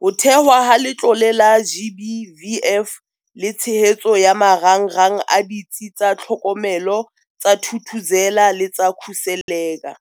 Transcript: ho thehwa ha Letlole la GBVF le tshehetso ya marangrang a Ditsi tsa Tlhokomelo tsa Thuthuzela le tsa Khuseleka.